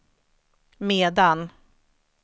medan